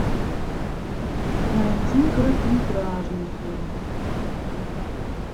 найди короткометражный фильм